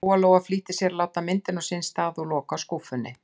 Lóa-Lóa flýtti sér að láta myndina á sinn stað og loka skúffunni.